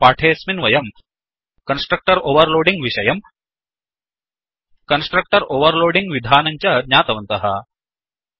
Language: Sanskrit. एवं पाठेऽस्मिन् वयम् कन्स्ट्रक्टर् ओवर्लोडिङ् विषयम् कन्स्ट्रक्टर् ओवर्लोडिङ्ग् विधानं च ज्ञातवन्तः